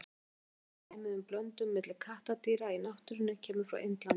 Eina þekkta dæmið um blöndun milli kattardýra í náttúrunni kemur frá Indlandi.